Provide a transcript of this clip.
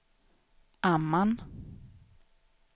Amman